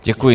Děkuji.